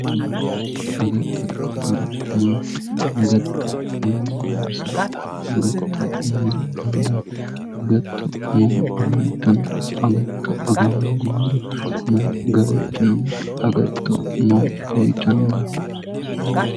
Agatto maato Agattote horo maati agatto mayinni loonsanni agatto mayira anganni agatto mama afantanno agatto aga hoongummoro mayi gawajjo noonke agatto maa uyitannonke